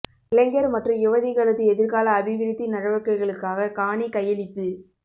இளைஞர் மற்றும் யுவதிகளது எதிர்கால அபிவிருத்தி நடவடிக்கைகளுக்காக காணி கையளிப்பு